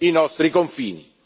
e fuori i nostri confini.